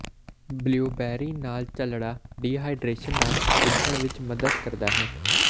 blueberry ਨਾਲ ਝੱਲਣਾ dehydration ਨਾਲ ਸਿੱਝਣ ਵਿੱਚ ਮਦਦ ਕਰਦਾ ਹੈ